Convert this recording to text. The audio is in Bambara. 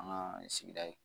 An ka sigida in